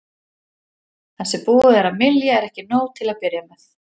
Það sem búið er að mylja er ekki nóg til að byrja með.